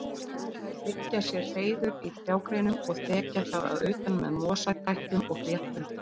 Þær byggja sér hreiður í trjágreinum og þekja það að utan með mosatætlum og fléttum.